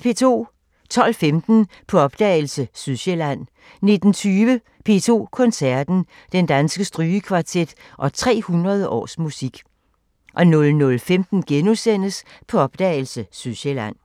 12:15: På opdagelse – Sydsjælland 19:20: P2 koncerten – Den Danske Strygekvartet og 300 års musik 00:15: På opdagelse – Sydsjælland *